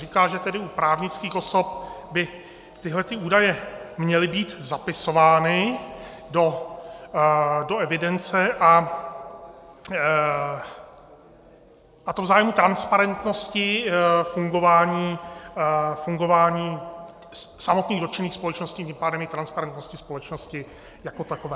Říká, že tedy u právnických osob by tyhle údaje měly být zapisovány do evidence, a to v zájmu transparentnosti fungování samotných dotčených společností, tím pádem i transparentnosti společnosti jako takové.